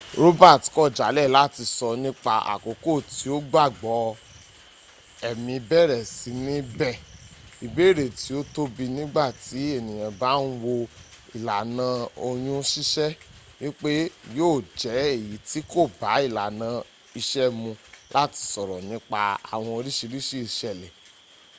roberts kọ jalẹ lati sọ nipa akoko ti o gbagbọ ẹmi bẹrẹ si ni bẹ ibeere ti o tobi nigba ti eniyan ba n wo ilana oyun sisẹ, wipe yo jẹ eyi ti ko ba ilana iṣe mu lati sọrọ nipa awọn oriṣiriṣi iṣẹlẹ